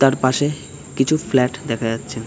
তারপাশে কিছু ফ্লাট দেখা যাচ্ছে ।